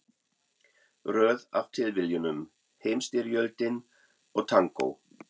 Röð af tilviljunum, Heimsstyrjöldin og tangó.